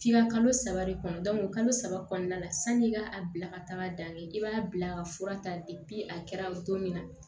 F'i ka kalo saba de kɔnɔ kalo saba kɔnɔna la sanni i ka a bila ka taga dan kɛ i b'a bila ka fura ta a kɛra don min na